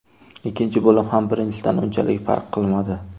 Ikkinchi bo‘lim ham birinchisidan unchalik farq qilmadi.